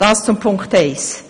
Dies zu Punkt eins.